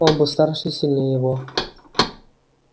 он был старше и сильнее его